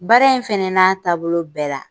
Baara in fɛnɛ n'a taabolo bɛɛ la.